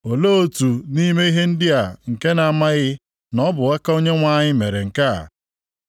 Olee otu nʼime ihe ndị a nke na-amaghị na ọ bụ aka Onyenwe anyị mere nke a?